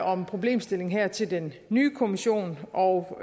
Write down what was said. om problemstillingen her til den nye kommission og